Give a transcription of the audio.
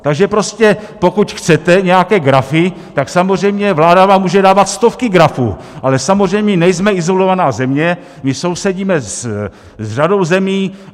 Takže prostě pokud chcete nějaké grafy, tak samozřejmě vláda vám může dávat stovky grafů, ale samozřejmě nejsme izolovaná země, my sousedíme s řadou zemí.